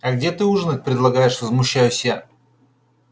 а где ты ужинать предлагаешь возмущаюсь я